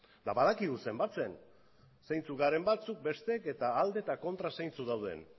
eta badakigu zenbatzen zeintzuk garen batzuk besteek eta alde eta kontra zeintzuk dauden